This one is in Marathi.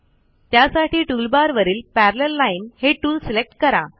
त्यासाठी टूलबारवरील पॅरालेल लाईन हे टूल सिलेक्ट करा